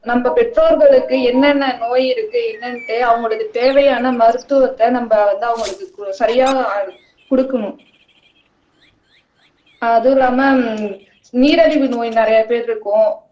நம்ம பெற்றோர்களுக்கு என்னென்ன நோய் இருக்கு என்னன்னுட்டு அவங்களுக்கு தேவையான மருத்துவத்தை நம்ம வந்து அவங்களுக்கு கு சரியா குடுக்கணும் அதுவும் இல்லாம நீரழிவு நோய் நிறைய பேர் இருக்கும்